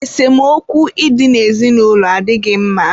esemokwu ị dị n'ezinụlọ adịghị mma